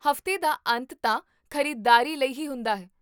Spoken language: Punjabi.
ਹਫ਼ਤੇ ਦਾ ਅੰਤ ਤਾਂ ਖ਼ਰੀਦਦਾਰੀ ਲਈ ਹੀ ਹੁੰਦਾ ਹੈ